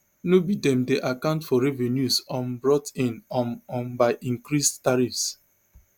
no be dem dey account for revenues um brought in um um by increased tariffs